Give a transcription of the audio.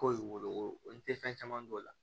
Ko wolo n tɛ fɛn caman dɔn o la